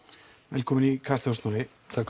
velkominn í Kastljós Snorri takk